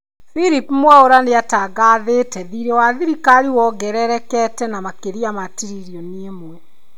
Phillip Mwaura nĩatangathĩte thirĩ wa thirikari wongererekete na makĩria ma tiririoni ĩmwe.